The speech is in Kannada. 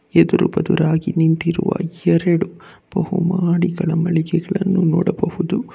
ಎದುರು ಬದುರಾಗಿ ನಿಂತಿರುವ ಎರಡು ಬಹುಮಾಡಿಗಳ ಮಳಿಗೆಗಳನ್ನು ನೋಡಬಹುದು.